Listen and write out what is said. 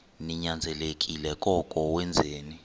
ninyanzelekile koko wenzeni